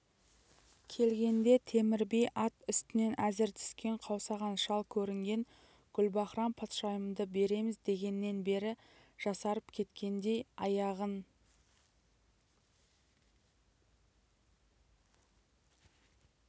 келгенде темір би ат үстінен әзер түскен қаусаған шал көрінген гүлбаһрам-патшайымды береміз дегеннен бері жасарып кеткендей аяғын